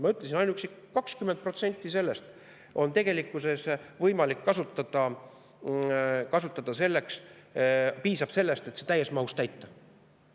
Ma ütlesin, kui ainuüksi 20% sellest tegelikkuses kasutada, siis sellest piisab, et see täies mahus täita.